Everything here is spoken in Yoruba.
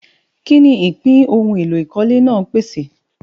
Kí ni ìpín ohun èlò ìkọ́lé náà pèsè?